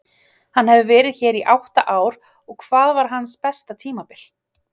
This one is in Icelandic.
Hann hefur verið hér í átta ár og hvað var hans besta tímabil?